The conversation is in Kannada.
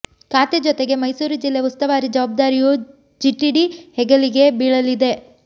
ಖಾತೆ ಜೊತೆಗೆ ಮೈಸೂರು ಜಿಲ್ಲೆ ಉಸ್ತುವಾರಿ ಜವಾಬ್ದಾರಿಯೂ ಜಿಟಿಡಿ ಹೆಗಲಿಗೆ ಬೀಳಲಿದೆ